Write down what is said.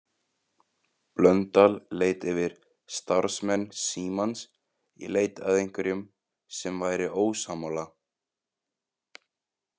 Blöndal leit yfir starfsmenn Símans í leit að einhverjum sem væri ósammála.